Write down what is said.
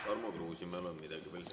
Tarmo Kruusimäel on midagi veel küsida.